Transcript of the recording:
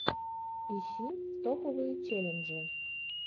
ищи топовые челленджи